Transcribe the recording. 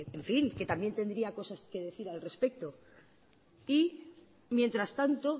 que en fin que también tendría cosas que decir al respecto y mientras tanto